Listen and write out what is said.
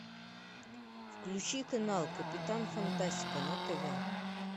включи канал капитан фантастика на тв